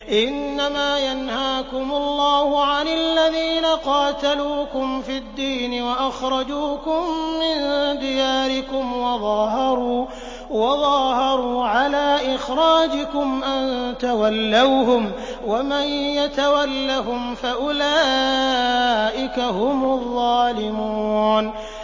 إِنَّمَا يَنْهَاكُمُ اللَّهُ عَنِ الَّذِينَ قَاتَلُوكُمْ فِي الدِّينِ وَأَخْرَجُوكُم مِّن دِيَارِكُمْ وَظَاهَرُوا عَلَىٰ إِخْرَاجِكُمْ أَن تَوَلَّوْهُمْ ۚ وَمَن يَتَوَلَّهُمْ فَأُولَٰئِكَ هُمُ الظَّالِمُونَ